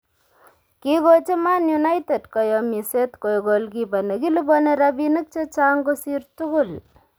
Kiigochi Man United koyomiset koek goalkeeper nekiliboni rabiinik che chang' kosir tugul